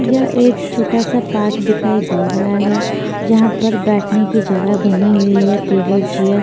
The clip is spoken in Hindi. यह एक छोटा सा पार्क दिखाई दे रहा है जहा पर बेठने की जगह बनी हुई है टेबल चेयर --